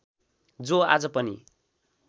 जो आज पनि